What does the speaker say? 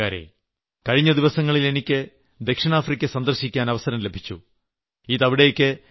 എന്റെ സ്നേഹം നിറഞ്ഞ നാട്ടുകാരേ കഴിഞ്ഞ ദിവസങ്ങളിൽ എനിയ്ക്ക് ദക്ഷിണാഫ്രിക്ക സന്ദർശിക്കാൻ അവസരം ലഭിച്ചു